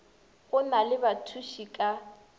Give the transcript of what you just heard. go na le bathuši ka